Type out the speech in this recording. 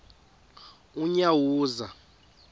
unyawuza